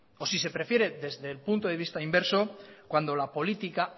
o si se prefiere desde el punto de vista inverso cuando la política